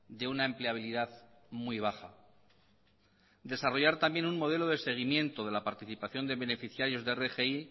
de una empleabilidad muy baja desarrollar también un modelo de seguimiento de la participación de beneficiarios de rgi